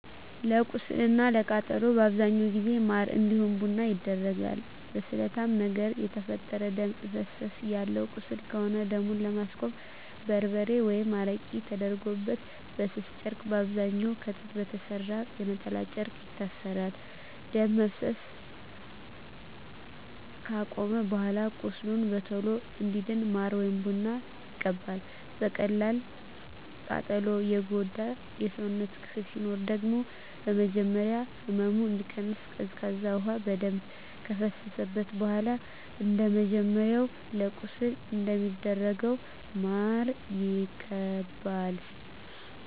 ለቁስል እና ለቃጠሎ በአብዛኛው ጊዜ ማር እንዲሁም ቡና ይደረጋል። በስለታማ ነገር የተፈጠረ ደም እፈሰሰ ያለው ቁስል ከሆነ ደሙን ለማስቆም በርበሬ ወይም አረቄ ተደርጎበት በስስ ጨርቅ በአብዛኛዉ ከጥጥ በተሰራ የነጠላ ጨርቅ ይታሰራል። ደም መፍሰስ አከቆመም በኃላ ቁስሉ በቶሎ እንዲድን ማር ወይም ቡና ይቀባል። በቀላል ቃጠሎ የጎዳ የሰውነት ክፍል ሲኖር ደግሞ በመጀመሪያ ህመሙ እንዲቀንስ ቀዝቃዛ ውሃ በደንብ ከፈሰሰበት በኃላ እንደመጀመሪያው ለቁስል እንደሚደረገው ማር ይቀባል።